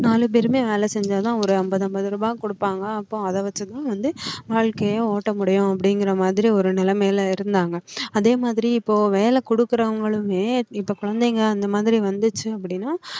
நாலு பேருமே வேலை செஞ்சாதான் ஒரு அம்பது அம்பது ரூபாய் குடுப்பாங்க அப்போ அத வச்சுதான் வந்து வாழ்க்கைய ஓட்ட முடியும் அப்படிங்கிற மாதிரி ஒரு நிலைமைல இருந்தாங்க அதே மாதிரி இப்போ வேலை கொடுக்குறவங்களுமே இப்போ குழந்தைங்க அந்த மாதிரி வந்துச்சு அப்படின்னா